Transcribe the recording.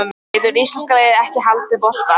Getur íslenska liðið ekki haldið bolta?